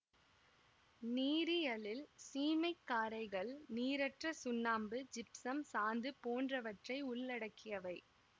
நீரியலில் சீமை காரைகள் நீரற்ற சுண்ணாம்பு ஜிப்சம் சாந்து போன்றவற்றை உள்ளடக்கியவை